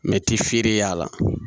Mɛti feere y'a la